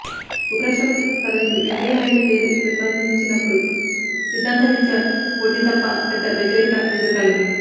ఉపరాష్టప్రతి పదవికి వెంకయ్యనాయుడు పేరు ప్రతిపాదించినప్పుడు సిద్ధాంతరీత్యా పోటీ తప్ప పెద్దవ్యతిరేకత ఎదురుకాలేదు